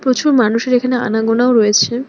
প্রচুর মানুষের এখানে আনাগোনাও রয়েছে।